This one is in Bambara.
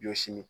Ɲɔ sini